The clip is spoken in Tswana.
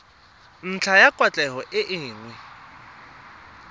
ntlha ya kwatlhao e nngwe